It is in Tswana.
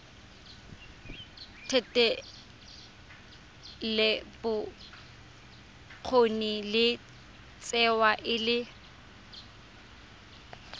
thetelelobokgoni e tsewa e le